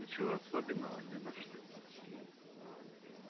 ничего особенного не нашли